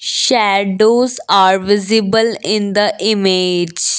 shadows are visible in the image.